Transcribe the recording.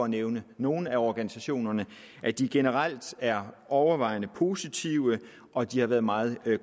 nævne nogle af organisationerne generelt er overvejende positive og de har været meget